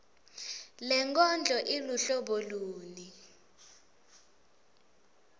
lenkondlo iluhlobo luni